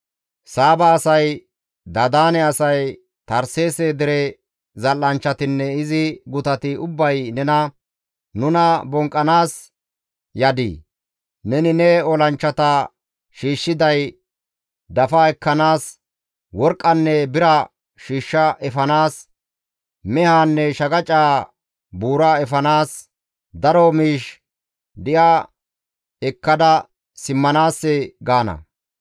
Saaba asay, Dadaane asay, Tarseese dere zal7anchchatinne izi gutati ubbay nena, ‹Nuna bonqqanaas yadii? Neni ne olanchchata shiishshiday dafa ekkanaas, worqqanne bira shiishsha efanaas, mehaanne shaqacaa buura efanaas, daro miish di7a ekkada simmanaassee?› gaana.